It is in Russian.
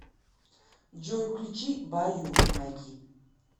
джой включи баю майки